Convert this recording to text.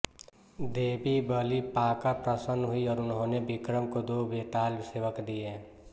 देवी बलि पाकर प्रसन्न हुईं और उन्होंने विक्रम को दो बेताल सेवक दिए